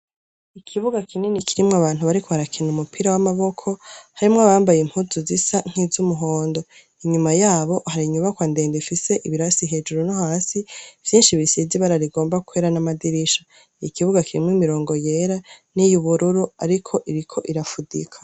Ikibuga kinini kirimo abantu bariko barakina umupira w'amaboko, harimwo abambaye impuzu zisa nk'iz'umuhondo. Inyuma yabo hari inyubakwa ndenga ifise ibirasi hejuru no hasi vyinshi bisize ibara rigomba kwera n'amadirisha. Ikibuga kirimw'imirongo yera n'iy' ubururu ariko iriko irafudika.